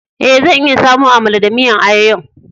Eh, zan iya samo Amala da miyan ayoyo'n.